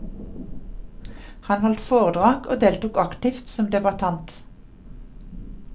Han holdt foredrag og deltok aktivt som debattant.